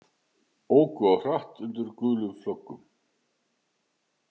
Óku of hratt undir gulum flöggum